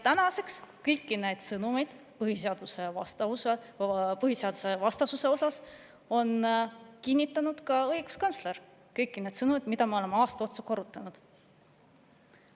Tänaseks on kõiki neid sõnumeid põhiseadusvastasuse kohta kinnitanud ka õiguskantsler, kõiki neid sõnu, mida me oleme aasta otsa korrutanud.